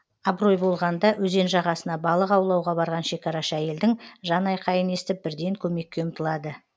абырой болғанда өзен жағасына балық аулауға барған шекарашы әйелдің жанайқайын естіп бірден көмекке ұмтылады